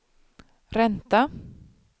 ränta